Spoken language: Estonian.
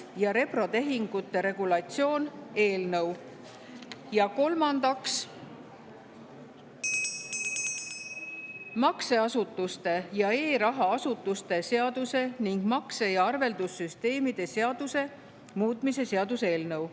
Ja kolmandaks, makseasutuste ja e-raha asutuste seaduse ning makse‑ ja arveldussüsteemide seaduse muutmise seaduse eelnõu.